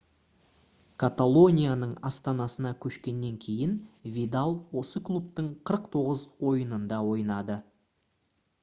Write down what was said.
каталонияның астанасына көшкеннен кейін видал осы клубтың 49 ойынында ойнады